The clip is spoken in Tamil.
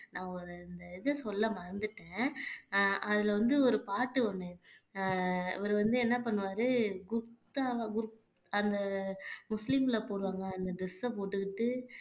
நான் ஒரு இந்த இத சொல்ல மறந்துட்டேன் அஹ் அதுல வந்து ஒரு பாட்டு ஒண்ணு அஹ் இவரு வந்து என்ன பண்ணுவாரு அந்த முஸ்லீம்ல போடுவாங்க அந்த dress அ போட்டுக்கிட்டு